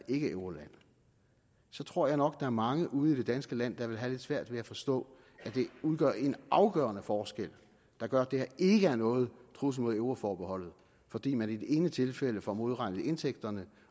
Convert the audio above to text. ikkeeuroland så tror jeg nok er mange ude i det danske land der vil have lidt svært ved at forstå at det udgør en afgørende forskel der gør at det her ikke er nogen trussel mod euroforbeholdet fordi man i det ene tilfælde får modregnet indtægterne